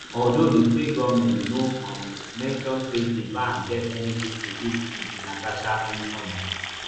although di state goment no um mention say di ban get anytin to do wit natasha homecoming